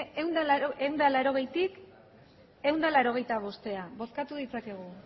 bozkatu ditzakegu